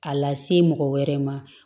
K'a lase mɔgɔ wɛrɛ ma